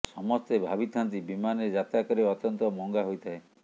ସମସ୍ତେ ଭାବିଥାନ୍ତି ବିମାନରେ ଯାତ୍ରା କରିବା ଅତ୍ୟନ୍ତ ମହଙ୍ଗା ହୋଇଥାଏ